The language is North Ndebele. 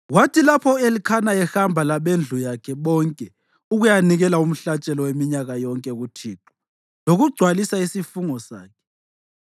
Kwathi lapho u-Elikhana ehamba labendlu yakhe bonke ukuyanikela umhlatshelo weminyaka yonke kuThixo lokugcwalisa isifungo sakhe,